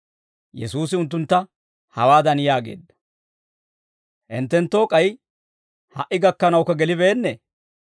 Yesuusi unttuntta hawaadan yaageedda; «Hinttenttoo k'ay ha"i gakkanawukka gelibeennee?